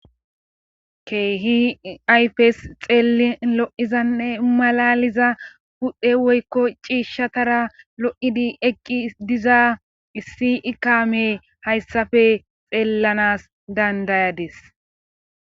keehi aypes xeelin lo7izanne malaliza pudhe woykko ciishshatara lo7idi eqqi diza issi ikame hayssafe xeellanas dandayades